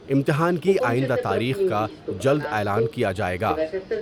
امتحان کی آئندہ تاریخ کا جلد اعلان کیا جاۓ گا ۔